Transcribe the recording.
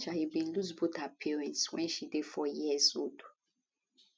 aduke ajayi bin lose both her parents wen she dey four years old